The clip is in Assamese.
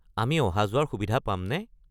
আমি অহা-যোৱাৰ সুবিধা পামনে?